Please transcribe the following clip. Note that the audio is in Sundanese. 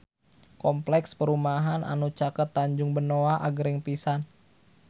Kompleks perumahan anu caket Tanjung Benoa agreng pisan